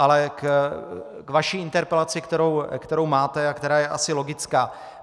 Ale k vaší interpelaci, kterou máte a která je asi logická.